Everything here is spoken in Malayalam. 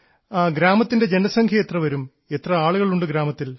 ഗ്രാമത്തിൻറെ ജനസംഖ്യ എത്രവരും എത്ര ആളുകളുണ്ട് ഗ്രാമത്തിൽ